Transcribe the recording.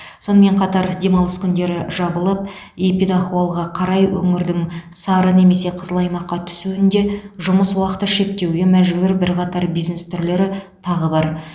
сонымен қатар демалыс күндері жабылып эпидахуалға қарай өңірдің сары немесе қызыл аймаққа түсуінде жұмыс уақыты шектеуге мәжбүр бірқатар бизнес түрлері тағы бар